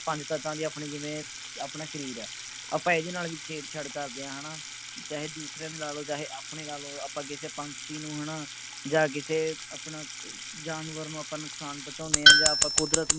ਪੰਜ ਤੱਤਾਂ ਦੀ ਆਪਣੀ ਜਿਵੇਂ ਆਪਣਾ ਸ਼ਰੀਰ ਹੈ ਆਪਾਂ ਇਹਦੇ ਨਾਲ ਵੀ ਛੇੜ ਛਾੜ ਕਰਦੇ ਹਾਂ ਹੈ ਨਾ ਚਾਹੇ ਦੂਸਰੇ ਦੀ ਲਾ ਲਓ ਚਾਹੇ ਆਪਣੀ ਲੈ ਲਓ ਆਪਾਂ ਕਿਸੇ ਪੰਛੀ ਨੂੰ ਹੈ ਨਾ ਜਾਂ ਕਿਸੇ ਆਪਣਾ ਜਾਨਵਰ ਨੂੰ ਆਪਾਂ ਨੁਕਸਾਨ ਪਹੁੰਚਾਂਦੇ ਹਾਂ ਜਾਂ ਆਪਾਂ ਕੁਦਰਤ ਨੂੰ